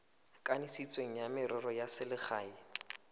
kanisitsweng wa merero ya selegae